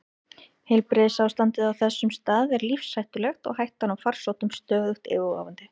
Heilbrigðisástandið á þessum stað er lífshættulegt og hættan á farsóttum stöðugt yfirvofandi.